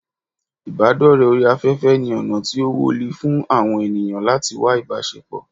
Idore ori afefe ni ona ti o Woli fun awon eniyan lati wá ibasepo